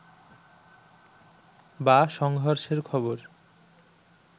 বা সংঘর্ষের খবর